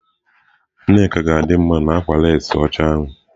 Nneka ga-adị mma na akwa leesị ọcha ya.